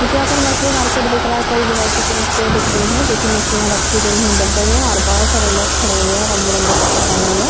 मुझे यहाँ पर मछली मार्केट दिख रहा है। कई वैराइटी की मछलियाँ दिख रही हैं जोकि मछलियाँ दिख रही हैं डब्बे में और बहोत सारे लोग खड़े हुए हैं। रंग-बिरंगे कपडे पहने हुए।